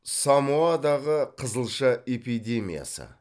самоадағы қызылша эпидемиясы